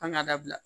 An k'a dabila